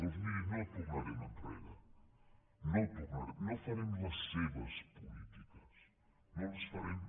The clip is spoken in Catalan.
doncs miri no tornarem enrere no hi tornarem no farem les seves polítiques no les farem